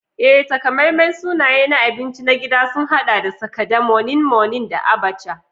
Ee, takamaiman sunaye na abinci na gida sun haɗa da Sakada, Moninmonin, da Abacha.